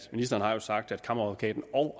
ministeren har jo sagt kammeradvokaten og